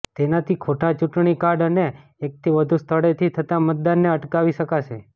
તેનાથી ખોટા ચૂંટણી કાર્ડ અને એકથી વધુ સ્થળેથી થતા મતદાનને અટકાવી શકાશે